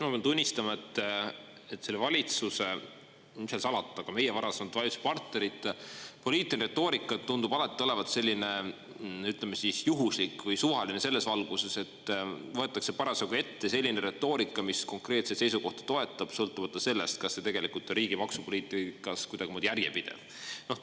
Ma pean tunnistama, et selle valitsuse, mis seal salata, ka meie varasemate valitsuspartnerite poliitiline retoorika tundub alati olevat selline, ütleme, juhuslik või suvaline selles valguses, et võetakse parasjagu ette selline retoorika, mis konkreetset seisukohta toetab, sõltumata sellest, kas see tegelikult riigi maksupoliitikas kuidagimoodi on järjepidev.